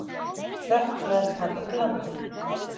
Hrökklaðist hann úr landi.